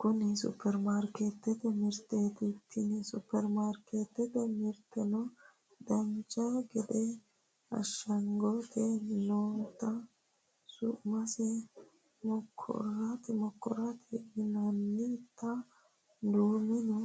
Kuni Supperimarkeettete mirteeti tini Supperimarkeettete mirteno dancha gede ashshagante noota su'mase mokoroonete yinannita duumenna